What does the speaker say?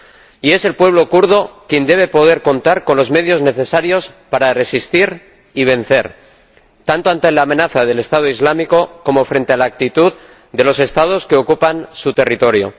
Y es el pueblo kurdo quien debe poder contar con los medios necesarios para resistir y vencer, tanto ante la amenaza del Estado Islámico como frente a la actitud de los Estados que ocupan su territorio.